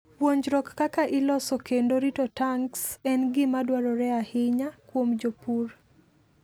Puonjruok kaka iloso kendo rito tanks en gima dwarore ahinya kuom jopur.